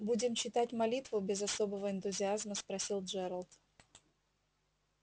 будем читать молитву без особого энтузиазма спросил джералд